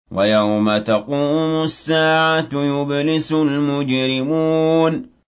وَيَوْمَ تَقُومُ السَّاعَةُ يُبْلِسُ الْمُجْرِمُونَ